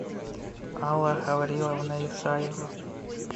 алла гавриловна исаева